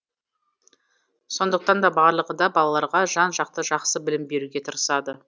сондықтан да барлығы да балаларға жан жақты жақсы білім беруге тырысады